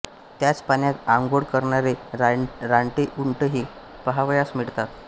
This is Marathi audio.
त्याच पाण्यात आंघोळ करणारे रानटी उंटही पहावयास मिळतात